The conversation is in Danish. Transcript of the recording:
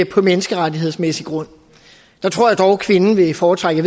på menneskerettighedsmæssig grund der tror jeg dog kvinden vil foretrække